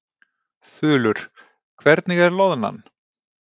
Þulur: Hvernig er loðnan?